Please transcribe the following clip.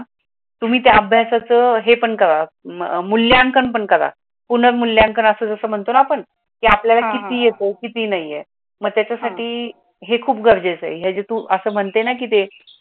तुम्ही त्या अभ्यासाचं हे पण करा मूल्यांकन पण करा पुनमूल्यांकन असं जसं म्हणतो ना आपण ते आपल्याला किती येतो किती नाहीये. मग त्याच्यासाठी हे खूप गरजेचे आहे, हे तू मणते की ना ते